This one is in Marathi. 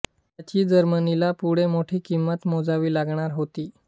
याची जर्मनीला पुढे मोठी किंमत मोजावी लागणार होती